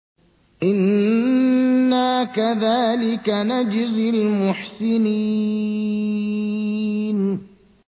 إِنَّا كَذَٰلِكَ نَجْزِي الْمُحْسِنِينَ